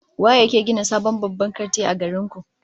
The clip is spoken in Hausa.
Waye yake gina sabon babban kanti a garin ku?